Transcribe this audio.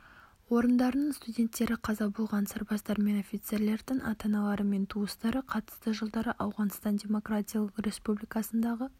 орындарының студенттері қаза болған сарбаздар мен офицерлердің ата-аналары мен туыстары қатысты жылдары ауғаныстан демократиялық республикасындағы